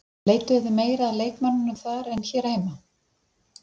Leituðuð þið meira að leikmönnum þar en hér heima?